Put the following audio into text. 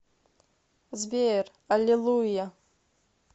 сбер аллилуйя